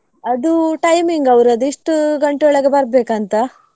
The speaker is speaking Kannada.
ಅದು timing ಅವ್ರದು ಇಷ್ಟು ಗಂಟೆ ಒಳಗೆ ಬರ್ಬೇಕಂತ.